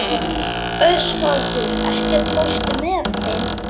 Ósvaldur, ekki fórstu með þeim?